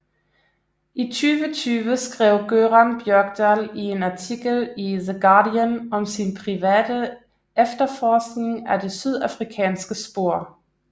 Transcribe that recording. I 2020 skrev Göran Björkdahl i en artikel i The Guardian om sin private efterforskning af det sydafrikanske spor